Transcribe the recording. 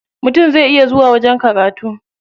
Mutum zai iya zuwa wajen karatu.